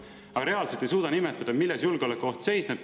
Aga samas ei suuda nimetada, milles reaalne julgeolekuoht seisneb.